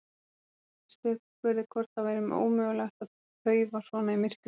Settist upp og spurði hvort það væri ekki ómögulegt að paufa svona í myrkrinu.